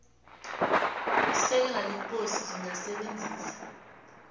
isekela lekosi lingasebenzisa